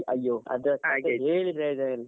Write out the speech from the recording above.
ಅಯ್ಯೋ ಅದು ಹೇಳಿ ಪ್ರಯೋಜನ ಇಲ್ಲ.